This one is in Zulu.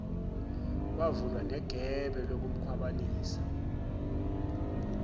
kwavula negebe lokukhwabanisa